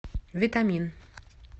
витамин